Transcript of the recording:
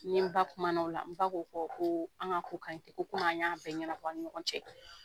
N ni n ba kumana o la n ba ko n ma ko an k'a ko ka ɲi ten ko komi an y'a bɛɛ ɲɛnabɔ an ni ɲɔgɔn cɛ